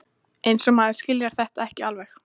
Eins og maður skilji þetta ekki alveg!